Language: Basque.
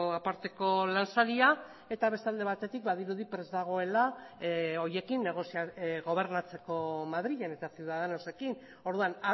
aparteko lansaria eta beste alde batetik badirudi prest dagoela horiekin gobernatzeko madrilen eta ciudadanosekin orduan